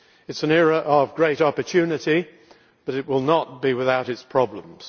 It is an era of great opportunity, but it will not be without its problems.